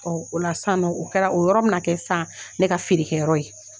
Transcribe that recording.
Ɔ o la sisan nɔ, o kɛra o yɔrɔ bɛ na kɛ sisan ne ka feerekɛyɔrɔ ye.